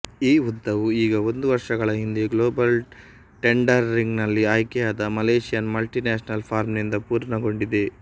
ಈ ಉದ್ದವು ಈಗ ಒಂದು ವರ್ಷಗಳ ಹಿಂದೆ ಗ್ಲೋಬಲ್ ಟೆನ್ಡರಿಂಗ್ನಲ್ಲಿ ಆಯ್ಕೆಯಾದ ಮಲೇಷಿಯನ್ ಮಲ್ಟಿ ನ್ಯಾಷನಲ್ ಫರ್ಮ್ ನಿಂದ ಪೂರ್ಣಗೊಂಡಿದೆ